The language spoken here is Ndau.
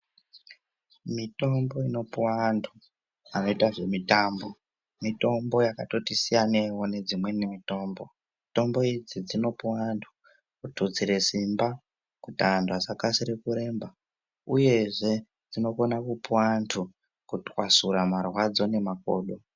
Mitombo inopuwa antu anoita zve mitambo ,mitombo yakatoti siyaneiwo nedzimwe mitombo . Mitombo idzi dzinopuwa antu kututsire simba kuti antu asakasira kuremba uyezve dzinokona kupuwa antu kutwasura marwadzo nemakodo.